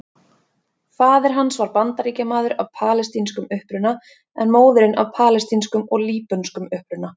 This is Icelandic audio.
Faðir hans var Bandaríkjamaður af palestínskum uppruna en móðirin af palestínskum og líbönskum uppruna.